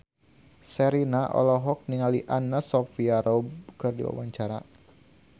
Sherina olohok ningali Anna Sophia Robb keur diwawancara